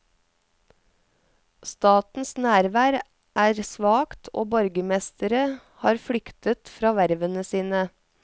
Statens nærvær er svakt, og borgermestere har flyktet fra vervene sine.